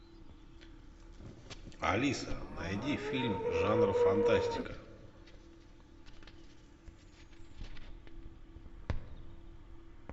алиса найди фильм жанра фантастика